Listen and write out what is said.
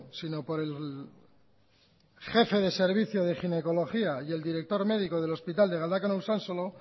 sino por el jefe de servicio de ginecología y el director médico del hospital de galdakano usansolo